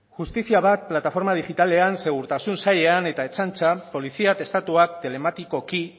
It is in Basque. justizia bat plataforma digitalean segurtasun sailean eta ertzaintza polizia atestatuak telematikoki